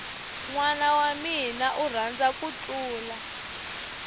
nwana wamina u rhandza ku thlula